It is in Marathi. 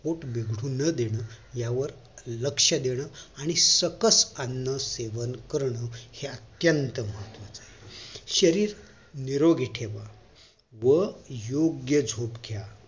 पोट बिघडू न देणं लक्ष देणं आणि सकस अन्न सेवन करण हे अत्यंत महत्वाच आहे शरीर निरोगी ठेवा व योग्य झोप घ्या